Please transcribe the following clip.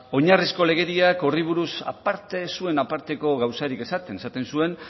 oinarrizko legediak horri buruz aparte ez zuen aparteko gauzarik esaten esaten zuen